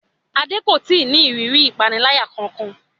Adé kò ì tí ì ní ìrírí ìpaniláyà kankan